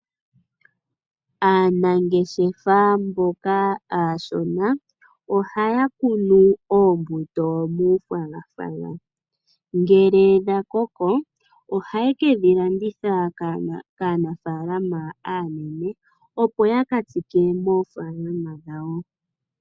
Aanangeshefa mboka aashona ohaa kunu oombuto muufwagafwaga. Ngele dha koko, ohaye kedhi landitha kaanafaalama aanene opo ya ka tsike moofaalama dhawo.